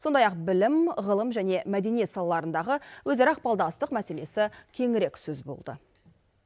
сондай ақ білім ғылым және мәдениет салаларындағы өзара ықпалдастық мәселесі кеңірек сөз болды